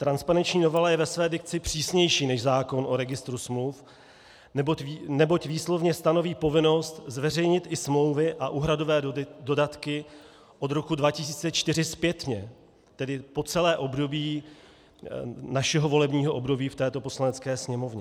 Transparenční novela je ve své dikci přísnější než zákon o registru smluv, neboť výslovně stanoví povinnost zveřejnit i smlouvy a úhradové dodatky od roku 2014 zpětně, tedy po celé období našeho volebního období v této Poslanecké sněmovně.